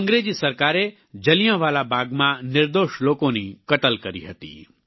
અંગ્રેજી સરકારે જલિયાંવાલા બાગમાં નિર્દોષ લોકોની કતલ કરી હતી